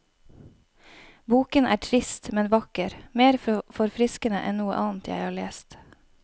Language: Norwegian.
Boken er trist, men vakker, mer forfriskende enn noe annet jeg har lest.